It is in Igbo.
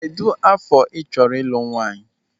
Kedụ afọ ị chọrọ ịlụ nwaanyị?